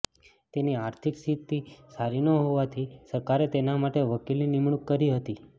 તેની આર્થિક સ્થિતિ સારી ન હોવાથી સરકારે તેના માટે વકીલની નિમણૂંક કરી હતી